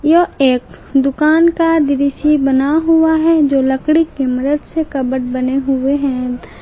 यह एक दुकान का दृश्य बना हुआ है जो लकड़ी की मदद से कबर्ड बने हुए हैं।